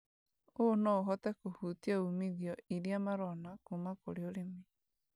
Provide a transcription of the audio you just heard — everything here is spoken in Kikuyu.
ũũ no ũhote kũhutia umithio ĩrĩa marona kũma kũrĩ ũrĩmi.